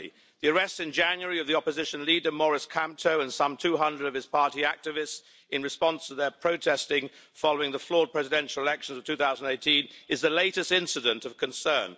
The arrests in January of the opposition leader Maurice Kamto and some 200 of his party activists, in response to their protesting following the flawed presidential elections of 2018, is the latest incident of concern.